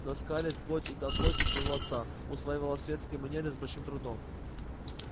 но скарлетт плоть и от плоти своего отца усваивала светские манеры с большим трудом